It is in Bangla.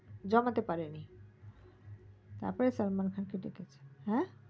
জমাতে পারেনি তার পর সালমান খান কে ডেকেছে হা